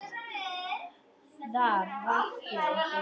Þar ræktuðu þau landið.